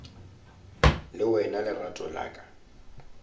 le wena lerato la ka